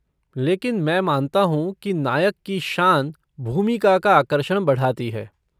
लेकिन मैं मानता हूँ कि नायक की शान भूमिका का आकर्षण बढ़ाती है।